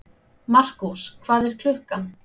Markús, hvað er klukkan?